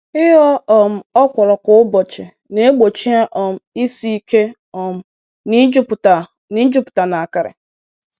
Ịghọ um okwuru kwa ụbọchị na-egbochi ha um isi ike um na i jupụta na i jupụta na akịrị.